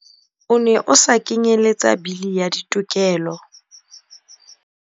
O ne o sa kenyeletsa Bili ya Ditokelo.